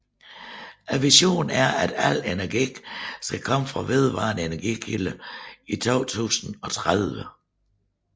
Visionen er at al energi skal komme fra vedvarende energikilder i 2030